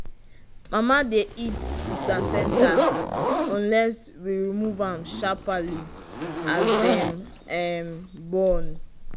mama dy eat the placenta unless we remove am sharparly as dem born